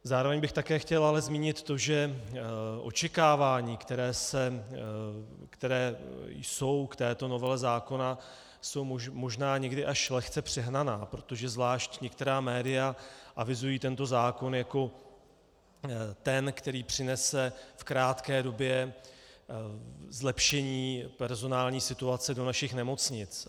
Zároveň bych také chtěl ale zmínit to, že očekávání, která jsou k této novele zákona, jsou možná někdy až lehce přehnaná, protože zvlášť některá média avizují tento zákon jako ten, který přinese v krátké době zlepšení personální situace do našich nemocnic.